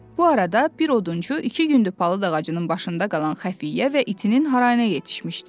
Bu arada bir odunçu iki gündür palıd ağacının başında qalan xəfiyyə və itinin harayına yetişmişdi.